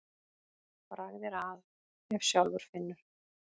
Bragð er að ef sjálfur finnur.